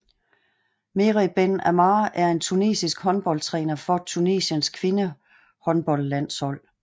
Mehrez Ben Ammar er en tunesisk håndboldtræner for Tunesiens kvindehåndboldlandshold